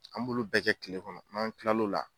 An m'olu bɛɛ kɛ kile kɔnɔ n'an kila l'o la